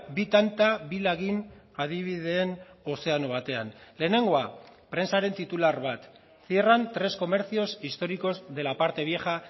bi tanta bi lagin adibideen ozeano batean lehenengoa prentsaren titular bat cierran tres comercios históricos de la parte vieja